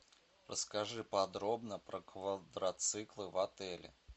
расскажи подробно про квадроциклы в отеле